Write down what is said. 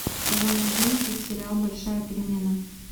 сезон одиннадцать сериал большая перемена